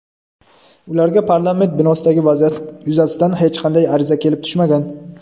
ularga parlament binosidagi vaziyat yuzasidan hech qanday ariza kelib tushmagan.